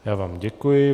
Já vám děkuji.